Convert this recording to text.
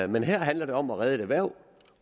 men her handler det om at redde et erhverv